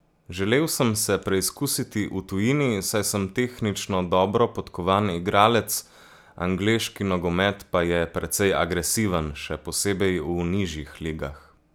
Želel sem se preizkusiti v tujini, saj sem tehnično dobro podkovan igralec, angleški nogomet pa je precej agresiven, še posebej v nižjih ligah.